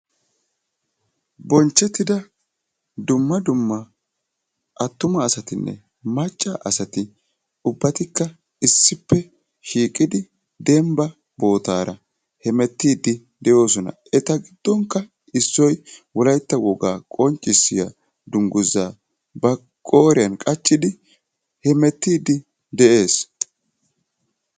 bonchchettida dumma dumma attuma asatinne macca asati eqqidosona. etappekka issoti demban eqqidi hemmetiidi de'oosona.